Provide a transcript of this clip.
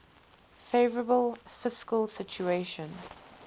favourable fiscal situation